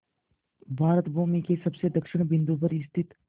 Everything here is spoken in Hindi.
भारत भूमि के सबसे दक्षिण बिंदु पर स्थित